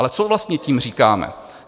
Ale co vlastně tím říkáme?